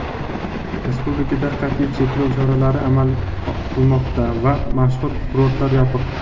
respublikada qat’iy cheklov choralari amal qilmoqda va mashhur kurortlar yopiq.